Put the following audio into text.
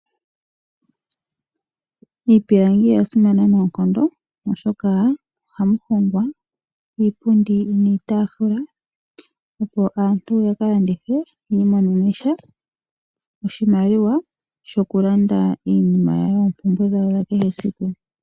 Iipilangi oya simana noonkondo, oshoka ohamu hongwa iipundi niitaafula, opo aantu ya ka landithe yi imonene oshimaliwa shokulanda oompumbwe dhawo dha kehe esiku.